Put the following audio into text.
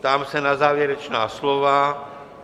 Ptám se na závěrečná slova.